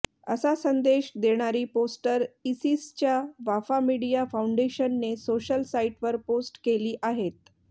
असा संदेश देणारी पोस्टर इसिसच्या वाफा मीडिया फाऊंडेशनने सोशल साईटवर पोस्ट केली आहेत